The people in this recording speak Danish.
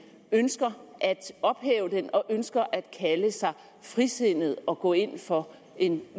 ønsker at ophæve den og ønsker at kalde sig frisindet og gå ind for en